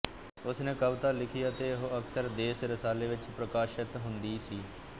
ਉਸਨੇ ਕਵਿਤਾ ਲਿਖੀ ਅਤੇ ਉਹ ਅਕਸਰ ਦੇਸ ਰਸਾਲੇ ਵਿੱਚ ਪ੍ਰਕਾਸ਼ਤ ਹੁੰਦੀ ਸੀ